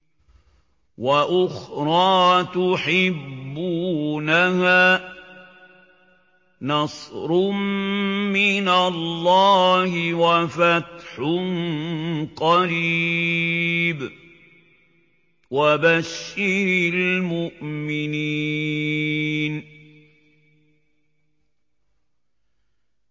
وَأُخْرَىٰ تُحِبُّونَهَا ۖ نَصْرٌ مِّنَ اللَّهِ وَفَتْحٌ قَرِيبٌ ۗ وَبَشِّرِ الْمُؤْمِنِينَ